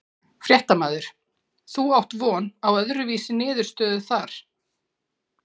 Fréttamaður: Þú átt von á öðru vísi niðurstöðu þar?